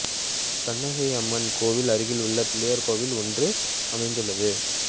கண்ணகை அம்மன் கோயிலுக்கு அருகில் பிள்ளையார் கோவில் ஒன்றும் அமைந்துள்ளது